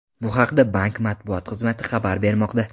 Bu haqda bank matbuot xizmati xabar bermoqda .